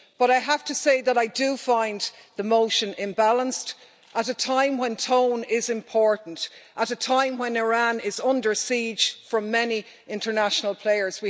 But I have to say that I do find the motion imbalanced at a time when tone is important, at a time when Iran is under siege from many international players.